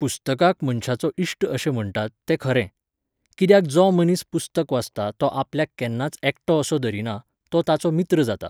पुस्तकाक मनशाचो इश्ट अशें म्हणटात, तें खरें. कित्याक जो मनीस पुस्तक वाचता तो आपल्याक केन्नाच एकटो असो धरीना, तो ताचो मित्र जाता.